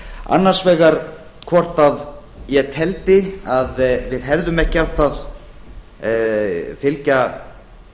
annars vegar hvort að ég teldi að við hefðum ekki átt að fylgja